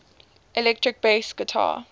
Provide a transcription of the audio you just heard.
electric bass guitar